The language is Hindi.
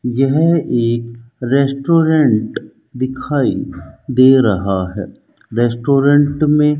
यह एक रेस्टोरेंट दिखाई दे रहा है रेस्टोरेंट में --